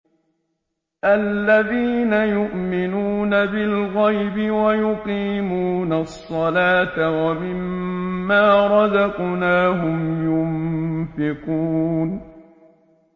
الَّذِينَ يُؤْمِنُونَ بِالْغَيْبِ وَيُقِيمُونَ الصَّلَاةَ وَمِمَّا رَزَقْنَاهُمْ يُنفِقُونَ